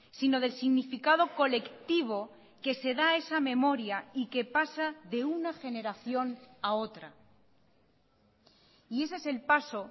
sino del significado colectivo que se da esa memoria y que pasa de una generación a otra y ese es el paso